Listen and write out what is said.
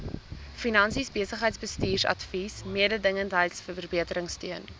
finansies besigheidsbestuursadvies mededingendheidsverbeteringsteun